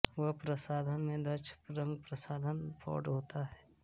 वह प्रसाधन में दक्ष रंगप्रसाधन प्रौढः होता है